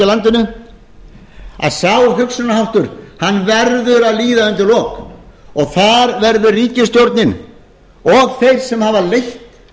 landinu að sá hugsunarháttur hann verður að líða undir lok og þar verður ríkisstjórnin og þeir sem hafa leitt